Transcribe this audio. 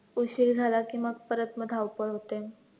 उशीर झाला की मग परत मग धावपळ होते,